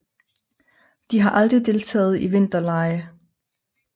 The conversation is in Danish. De har aldrig deltaget i vinterlege